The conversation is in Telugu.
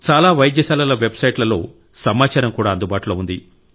చాలా వైద్యశాలల వెబ్సైట్లలో సమాచారం కూడా అందుబాటులో ఉంది